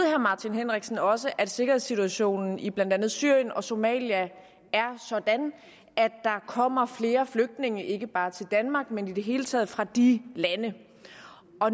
herre martin henriksen også at sikkerhedssituationen i blandt andet syrien og somalia er sådan at der kommer flere flygtninge ikke bare til danmark men i det hele taget fra de lande